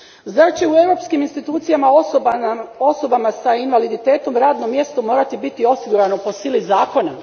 Zar će u Europskim institucijama osobama s invaliditetom radno mjesto morati biti osigurano po sili zakona?